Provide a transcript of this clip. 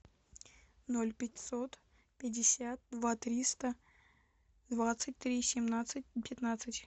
ноль пятьсот пятьдесят два триста двадцать три семнадцать пятнадцать